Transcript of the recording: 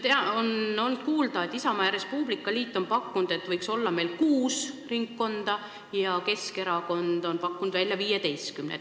On olnud kuulda, et Isamaa ja Res Publica Liit on pakkunud, et võiks olla kuus ringkonda, ja Keskerakond on pakkunud välja 15 ringkonda.